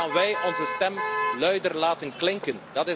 Hoe gaan wij onze stem luider laten klinken?